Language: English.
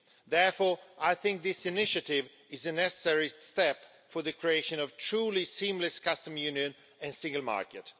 Therefore, I think this initiative is a necessary step for the creation of a truly seamless Custom Union and single market.